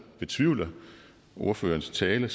betvivler ordførerens tale